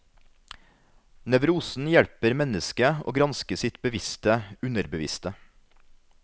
Nevrosen hjelper mennesket å granske sitt bevisste underbevisste.